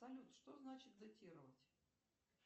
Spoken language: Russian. салют что значит датировать